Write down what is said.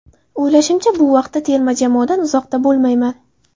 O‘ylashimcha, bu vaqtda terma jamoadan uzoqda bo‘lmayman.